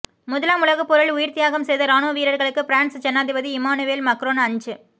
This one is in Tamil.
முதலாம் உலகப்போரில் உயிர்த்தியாகம் செய்த இராணுவ வீரர்களுக்கு பிரான்ஸ் ஜனாதிபதி இமானுவேல் மக்ரோன் அஞ்